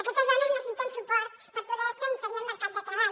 aquestes dones necessiten suport per po·der·se inserir al mercat de treball